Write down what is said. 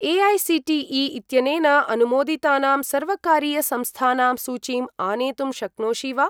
AICTE. इत्यनेन अनुमोदितानां सर्वकारीय संस्थानां सूचीम् आनेतुं शक्नोषि वा?